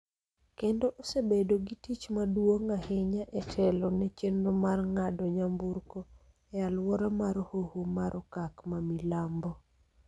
kendo osebedo gi tich maduong� ahinya e telo ne chenro mar ng�ado nyamburko e alwora mar Hoho mar Okak ma Milambo.